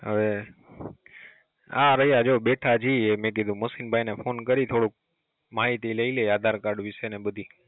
હવે, આ રહિયા જો બેઠા છીએ મે કીધું મોશીનભાઈ ને ફોન કરી થોડુંક માહિતી લઈ લઈ આધાર કાર્ડ વિશે ને બધી